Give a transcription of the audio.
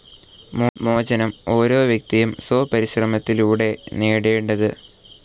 മോചനം ഓരോ വ്യക്തിയും സ്വപരിശ്രമത്തിലൂടെയാണ് നേടേണ്ടത്.